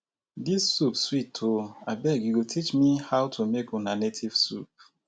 dis soup sweet oo. abeg you go teach me how to make una native soup